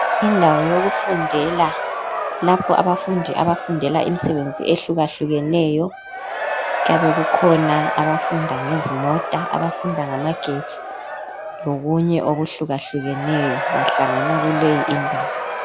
Indawo yokufundela lapho abafundi abafundela imisebenzi ehlukahlukeneyo. Kuyabekukhona abafunda ngezimota abafunda ngamagetsi lokunye okuhlukahlukeneyo bahlangana kuley' indawo.